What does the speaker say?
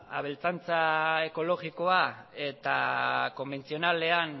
abeltzantza ekologikoa eta konbentzionalean